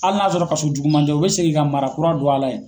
Hali n'a sɔrɔ kaso juguman tɛ . U be segin ka mara kura don a la yen.